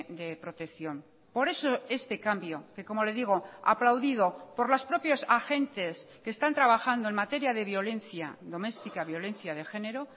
de protección por eso este cambio que como le digo aplaudido por los propios agentes que están trabajando en materia de violencia doméstica violencia de género